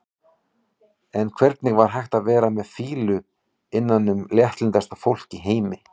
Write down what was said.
En hvernig var hægt að vera með fýlu innan um léttlyndasta fólk í heimi?